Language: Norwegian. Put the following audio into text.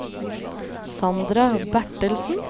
Sandra Bertelsen